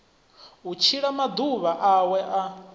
u tshila maḓuvha awe a